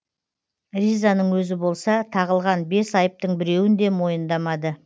ризаның өзі болса тағылған бес айыптың біреуін де мойындамады